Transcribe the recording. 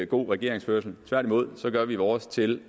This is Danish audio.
god regeringsførelse tværtimod gør vi vores til